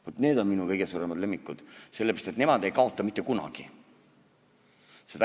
Vaat need on minu kõige suuremad lemmikud, sellepärast et nemad ei kaota mitte kunagi.